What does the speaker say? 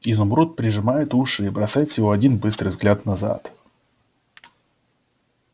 изумруд прижимает уши и бросает всего один быстрый взгляд назад